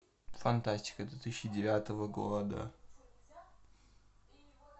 фантастика две тысячи девятого года